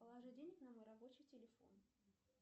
положи денег на мой рабочий телефон